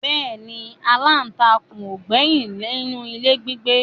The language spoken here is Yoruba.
Bẹ́ẹ̀ ni aláǹtakûn ò gbẹ́yìn nínú ilé gbígbé